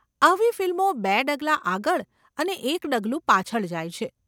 આવી ફિલ્મો બે ડગલા આગળ અને એક ડગલું પાછળ જાય છે.